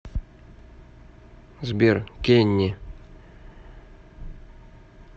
сбер кенни